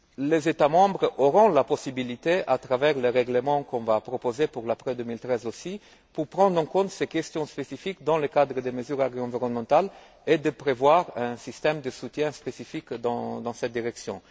Les États membres auront la possibilité, à travers le règlement qu'on va proposer pour l'après 2013 aussi, de prendre en compte ces questions spécifiques dans le cadre des mesures environnementales et de prévoir un système de soutien spécifique dans cette direction.